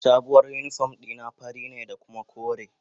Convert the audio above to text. Sabuwar uniform dina fari ne kuma kore.